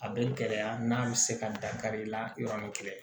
A bɛ gɛlɛya n'a bɛ se ka dankari i la yɔrɔnin kelen